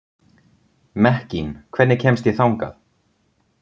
Mekkín, hvernig kemst ég þangað?